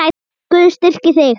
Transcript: Guð styrki þig.